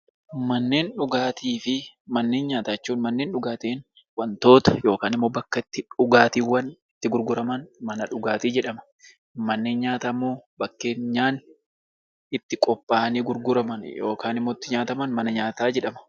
Manneen dhugaatii jechuun bakka dhugaatiiwwan garagaraa itti gurguraman jechuudha. Mana nyaataa jechuun immoo bakka nyaanni itti qophaa'ani itti gurguraman yookiin nyaataman jechuudha.